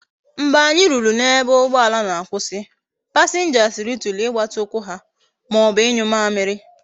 Mgbe anyi ruru na ebe ugboala na akwusi, passengers rituru igbati ukwu ha maobu inyu amiri